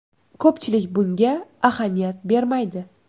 Ko‘pchilik bunga ahamiyat bermaydi.